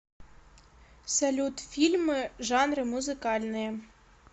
салют фильмы жанры музыкальные